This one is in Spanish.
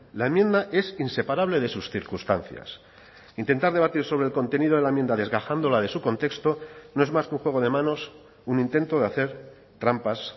la enmienda es inseparable de sus circunstancias intentar debatir sobre el contenido de la enmienda desgajándola de su contexto no es más que un juego de manos un intento de hacer trampas